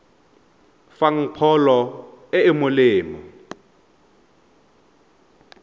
fang pholo e e molemo